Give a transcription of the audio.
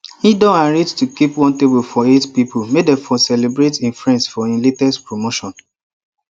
he don arrange to keep one table for eight pipo make them for celebrate e friend for e latest promotion